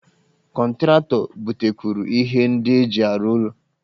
Kọntratọ butekwuru ihe ndị eji arụ ụlọ